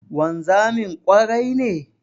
Wanzamin ƙwarai ne?